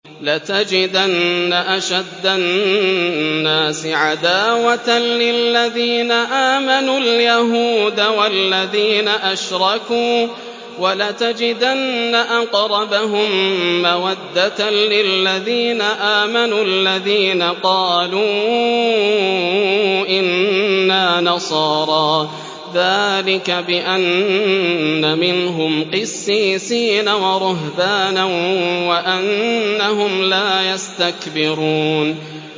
۞ لَتَجِدَنَّ أَشَدَّ النَّاسِ عَدَاوَةً لِّلَّذِينَ آمَنُوا الْيَهُودَ وَالَّذِينَ أَشْرَكُوا ۖ وَلَتَجِدَنَّ أَقْرَبَهُم مَّوَدَّةً لِّلَّذِينَ آمَنُوا الَّذِينَ قَالُوا إِنَّا نَصَارَىٰ ۚ ذَٰلِكَ بِأَنَّ مِنْهُمْ قِسِّيسِينَ وَرُهْبَانًا وَأَنَّهُمْ لَا يَسْتَكْبِرُونَ